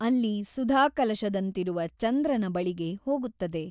ಅಲ್ಲಿ ಸುಧಾಕಲಶದಂತಿರುವ ಚಂದ್ರನ ಬಳಿಗೆ ಹೋಗುತ್ತದೆ.